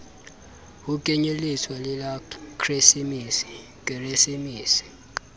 ho kenyelletswa le la keresemese